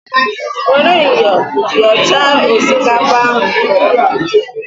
Were myọ yọchaa osikapa ahụ nke ọma!